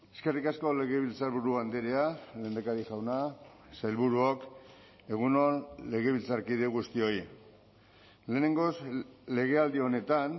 eskerrik asko legebiltzarburu andrea lehendakari jauna sailburuok egun on legebiltzarkide guztioi lehenengoz legealdi honetan